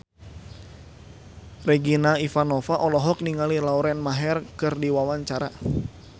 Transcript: Regina Ivanova olohok ningali Lauren Maher keur diwawancara